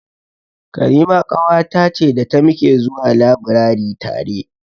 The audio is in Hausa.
Karima ƙawata ce da ta muke zuwa labirari tare.